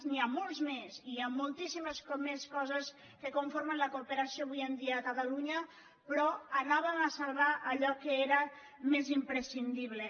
n’hi ha molts més hi ha moltíssimes més coses que conformen la cooperació avui dia a catalunya però anàvem a salvar allò que era més imprescindible